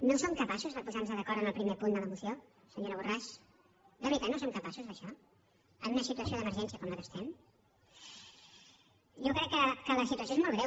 no som capaços de posar nos d’acord en el primer punt de la moció senyora borràs de veritat no som capaços d’això en una situació d’emergència com la que estem jo crec que la situació és molt greu